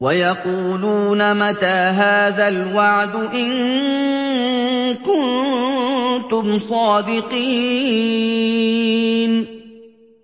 وَيَقُولُونَ مَتَىٰ هَٰذَا الْوَعْدُ إِن كُنتُمْ صَادِقِينَ